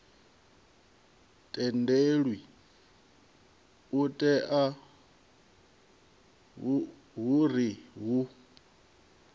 tendelwi u itela uri hu